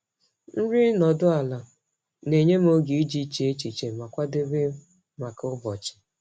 Nri nọdụ ala na-enye m oge iji chee echiche ma kwadebe maka ụbọchị.